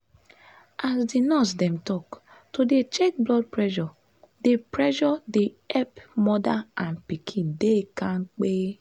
as di nurse dem talk to dey check blood pressure dey pressure dey epp moda and pikin dey kampe.